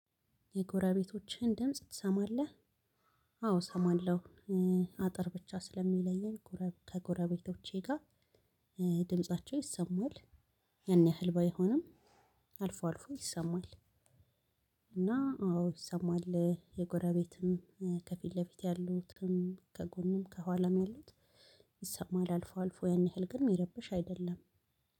የጎረቤቶችህን ድምጽ ትሰማለህ? አዎ እሰማለሁ። አጥር ብቻ ስለሚለየን ከጎረቤቶቼ ጋር ድምጻቸው ይሰማል። ያን ያህል ባይሆንም አልፎ አልፎ ይሰማል። እና አዎ ይሰማል የጎረቤትም ከፊት ለፊት ያሉትም ከጎንም ከኋላም ያሉት ይሰማል አልፎ አልፎ ያን ያህል ግን የሚረብሽ አይደለም።